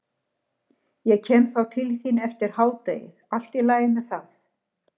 Ég kem þá til þín eftir hádegið, allt í lagi með það?